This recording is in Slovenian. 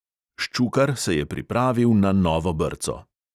Ščukar se je pripravil na novo brco.